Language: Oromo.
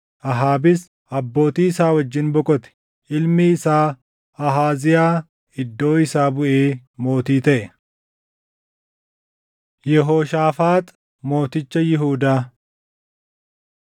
Ahaabis abbootii isaa wajjin boqote. Ilmi isaa Ahaaziyaa iddoo isaa buʼee mootii taʼe. Yehooshaafaax Mooticha Yihuudaa 22:41‑50 kwf – 2Sn 20:31–21:1